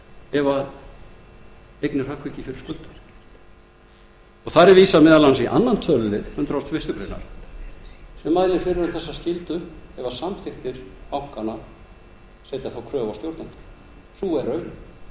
ef eignir hrökkva ekki fyrir skuldum þar er vísað meðal annars í öðrum tölulið hundrað og fyrstu grein sem mælir fyrir um þessa skyldu ef samþykktir bankanna setja þá kröfu á stjórnendur